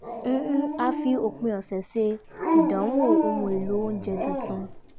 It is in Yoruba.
a fi òpin ọ̀sẹ̀ ṣe ìdánwò ohun èlò oúnjẹ tuntun